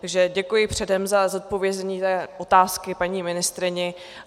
Takže děkuji předem za zodpovězení té otázky paní ministryni.